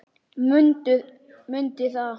Mundi það.